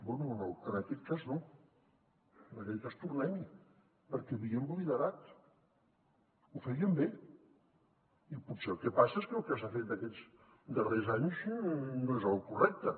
bé en aquest cas no en aquest cas tornem hi perquè havíem liderat ho fèiem bé i potser el que passa és que el que s’ha fet aquests darrers anys no és el correcte